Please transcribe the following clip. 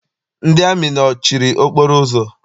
Ndị amị nọchiri okporo ụzọ.